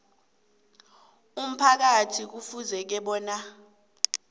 umphakathi kufuze bona